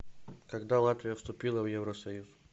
когда латвия вступила в евросоюз